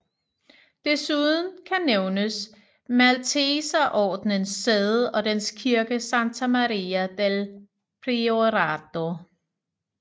Desuden kan nævnes Malteserordenens sæde og dens kirke Santa Maria del Priorato